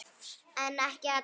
En ekki allar.